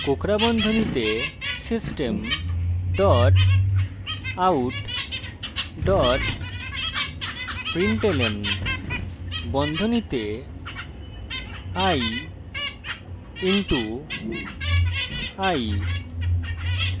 কোঁকড়া বন্ধনীতে system dot out dot println বন্ধনীতে i * i